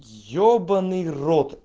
ёбанный рот